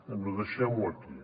bé deixem ho aquí